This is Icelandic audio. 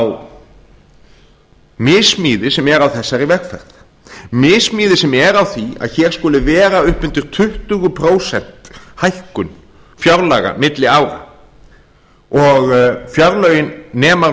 þá missmíði sem er á þessari vegferð missmíði sem er á því að hér skuli vera upp undir tuttugu prósenta hækkun fjárlaga milli ára og fjárlögin nema